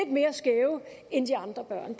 mere skæve end de andre børn